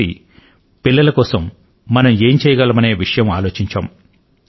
వీటన్నిటితో కలసి పిల్లల కోసం మనం ఏం చేయగలమనే విషయాన్ని ఆలోచించాము